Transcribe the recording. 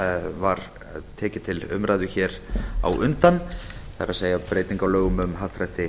var tekið til umræðu hér á undan það er breyting á lögum um happdrætti